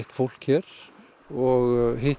fólk hér og hitt